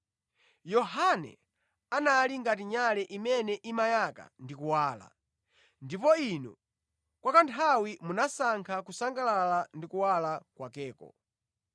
Yohane anali ngati nyale imene imayaka ndi kuwala, ndipo inu kwa kanthawi munasankha kusangalala ndi kuwala kwakeko.